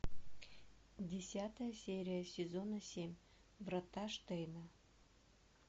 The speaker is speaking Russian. десятая серия сезона семь врата штейна